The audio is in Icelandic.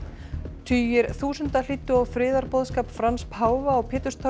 tugir þúsunda hlýddu á friðarboðskap Frans páfa á